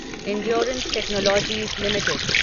endurance technologies limited